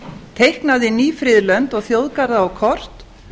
teiknað inn ný friðlönd og þjóðgarða á kort